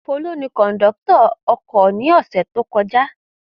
Folú ni kọ̀ńdọ́tọ̀ ọkọ̀ ní ọ̀sẹ̀ tó kọjá.